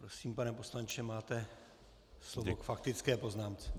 Prosím, pane poslanče, máte slovo k faktické poznámce.